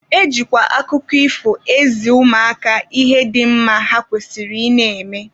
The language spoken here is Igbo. E jikwa akụkọ ifo ezi ụmụaka ihe dị mma ha kwesịrị ị na-eme.